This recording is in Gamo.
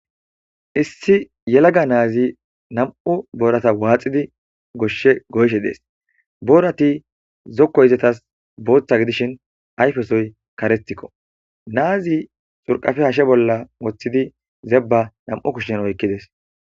issi yelaga naazi nam7u boorata waaxidi goshshe goyshe dees boorati zokkoy izetas booththa gidishin ayfesoy karestikko naazi xurqafe hashe bolla woththidi zebba nam7u kushshen oykkides